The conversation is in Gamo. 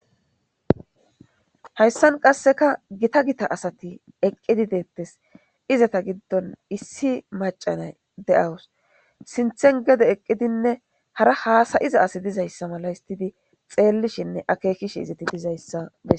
hayssan qasseka gita gita asati eqqidi deettes izata giddon issi macanay de7awus sinthen gede eqqidinne hara haasai'iza asi dizayssa mala histidi xeellishinne akeekish izati dizayssa bes